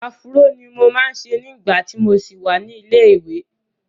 Afúró ni mo máa ń ṣe nígbà tí mo ṣì wà ní ilé-ìwẹ́.